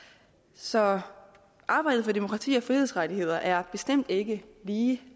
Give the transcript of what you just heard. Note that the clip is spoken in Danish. så arbejdet for demokrati og frihedsrettigheder er bestemt ikke lige